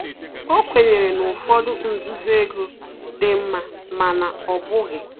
O kwenyere na ụfọdụ nzuzo ego dị nma, mana ọ bụghị